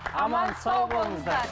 аман сау болыңыздар